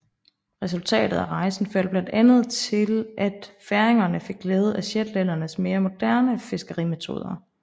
Resultatet af rejsen førte blandt andet til at færingerne fik glæde af shetlændernes mere moderne fiskerimetoder